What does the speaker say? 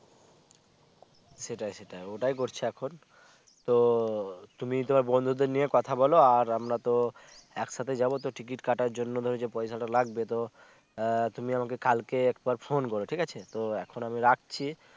সেটাই সেটাই ওইটাই করছে এখন তো তুমি তো বন্ধুদের নিয়ে কথা বলো আমরা তো একসাথে যাবো টিকিট কাটার জন্য যে পয়সা টা লাগবে তো আহ তুমি আমাকে কালকে একবার phon করো ঠিক আছে তো এখন আমি রাখছি